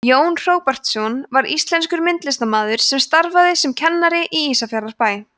jón hróbjartsson var íslenskur myndlistarmaður sem starfaði sem kennari í ísafjarðarbæ